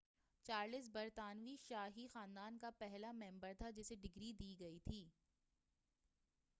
Charles برطانوی شاہی خاندان کا پہلا ممبر تھا جسے ڈگری دی گئی تھی